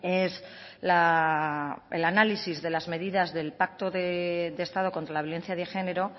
es el análisis de las medidas del pacto de estado contra la violencia de género